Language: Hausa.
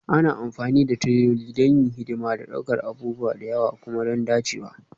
Ana amfani da tireloli don yin hidima da ɗaukar abubuwa da yawa kuma don dacewa